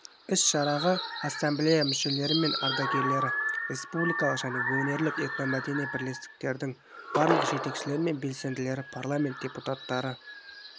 іс-шараға ассамблея мүшелері мен ардагерлері республикалық және өңірлік этномәдени бірлестіктердің барлық жетекшілері мен белсенділері парламент депутаттары